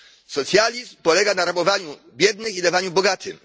Socjalizm polega na rabowaniu biednych i dawaniu bogatym.